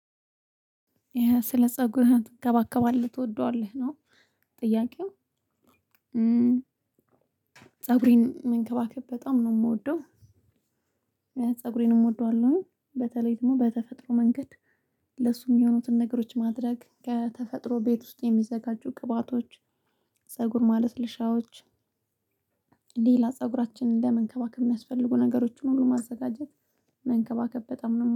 ይሄ ስለ ፀጉርህን ትንከባከባለህ ትወደዋለህ ነው? ጥያቄው ፀጉሬን መንከባከብ በጣም ነው የምወደው ፀጉሬንም እወደዋለሁ በተለይ ደግሞ በተፈጥሮ መንገድ። ለሱ የሚሆኑትን ነገሮች ማድረግ ከተፈጥሮ ቤት ውስጥ የሚዘጋጁ ቅባቶች። ፀጉር ማለስለሻዎች። ሌላ ፀጉራችንን ለመንከባከብ የሚያስፈልጉ ነገሮችን ሁሉ ማዘጋጀት። መንከባከብ በጣም ነው